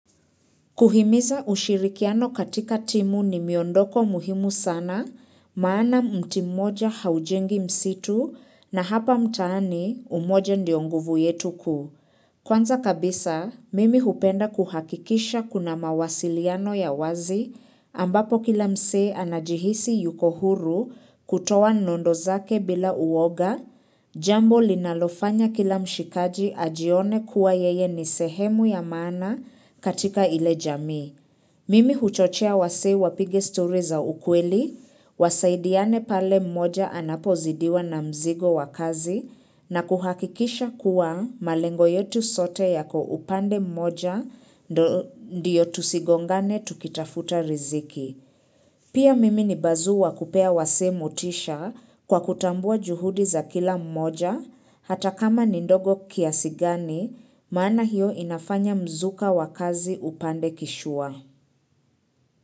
Kuhimiza ushirikiano katika timu ni miondoko muhimu sana, maana mti moja haujengi msitu na hapa mtaani umoja ndio nguvu yetu kuu. Kwanza kabisa, mimi hupenda kuhakikisha kuna mawasiliano ya wazi ambapo kila msee anajihisi yuko huru kutoa nondo zake bila uoga, jambo linalofanya kila mshikaji ajione kuwa yeye ni sehemu ya maana katika ile jamii. Mimi huchochea wasee wapige story za ukweli, wasaidiane pale mmoja anapozidiwa na mzigo wa kazi na kuhakikisha kuwa malengo yetu sote yako upande mmoja ndiyo tusigongane tukitafuta riziki. Pia mimi ni bazuu wa kupea wasee motisha kwa kutambua juhudi za kila mmoja hata kama ni ndogo kiasi gani maana hiyo inafanya mzuka wa kazi upande kishua.